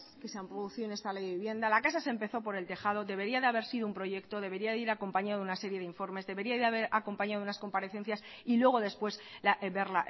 que se han producido en esta ley de vivienda la casa se empezó por el tejado debería haber sido un proyecto debería de ir acompañado de una serie de informes debería de haber acompañado de unas comparecencias y luego después ver